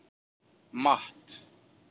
Matt